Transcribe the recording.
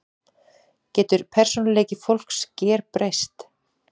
Getur persónuleiki fólks gerbreyst?